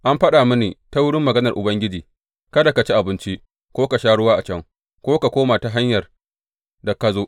An faɗa mini ta wurin maganar Ubangiji, Kada ka ci abinci, ko ka sha ruwa a can, ko ka koma ta hanyar da ka zo.’